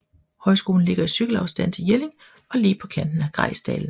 Højskolen ligger i cykelafstand til Jelling og lige på kanten af Grejsdalen